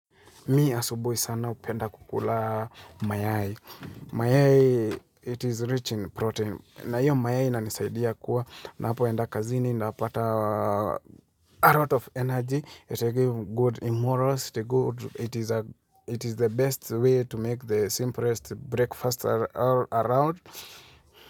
Mi asubuhi sana upenda kukula mayai. Mayai, it is rich in protein. Na iyo mayai ina nisaidia kuwa. Napo enda kazini, napata a lot of energy. It is good immorals, it is the best way to make the simplest breakfast all around.